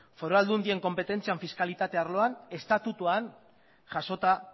foru aldundien konpetentzian fiskalitate arloan estatutuak jasota